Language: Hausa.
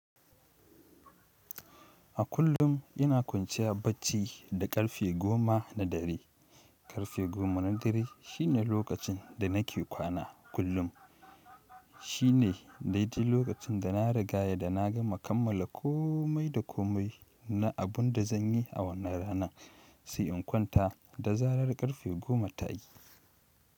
A kullum ina kwanciya bacci da ƙarfe goma na dare. Ƙarfe goma na dare shine lokacin da nake kwana kullum shine daidai lokacin da na riga ya da na gama kammala komai da komai na abun da zan yi a wannan rana, sai in kwanta da zarar ƙarfe goma ta yi.